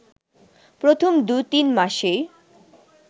প্রথম দু-তিন মাসেই